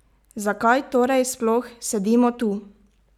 Zakaj torej sploh sedimo tu?